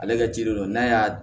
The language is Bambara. Ale ka jiri don n'a y'a